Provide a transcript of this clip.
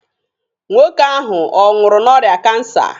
Nwoke ahụ ọ nwụrụ n'orịa kansa?